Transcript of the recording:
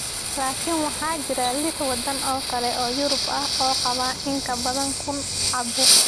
Laakiin waxaa jira liix waddan oo kale oo Yurub ah oo qaba in ka badan kun caabuq.